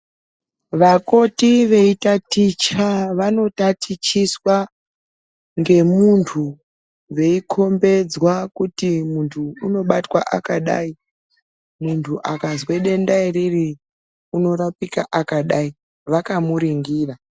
Vakoti vaitaticha vanotatichiswa ngemuntu veikombedzwa kuti muntu unobatwa akadai. Muntu akazwe denda iriri unorapika akadai, vakamuringira.